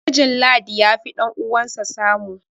mijin ladi ya fi ɗan'uwansa samu